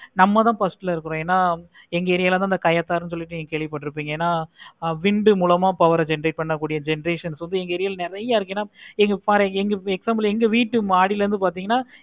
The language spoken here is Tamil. நம்ம தான் first ல இருக்கும். எங்க area ல தான் கயத்தாறு இருக்கு கேள்வி பட்டு இருப்பிங்க என hindu மூலமா power generate பண்றது கூடிய generation நெறைய இருக்கு. என பாரு எங்க எங்க வீடு மாடியில இருந்து